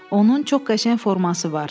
Onun çox qəşəng forması var.